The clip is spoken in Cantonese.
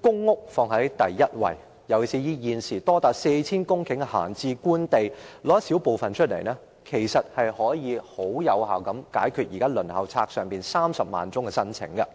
公屋放在第一位，尤其是現時閒置官地多達 4,000 公頃，政府只須撥出一少部分，便可以有效解決現時輪候冊上有30萬宗申請的問題。